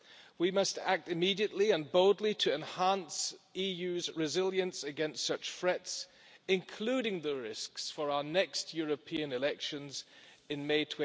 We must act immediately and boldly to enhance the EU's resilience against such threats, including the risks for our next European elections in May